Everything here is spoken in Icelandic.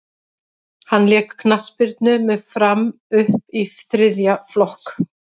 hann lék knattspyrnu með fram upp í þriðja flokk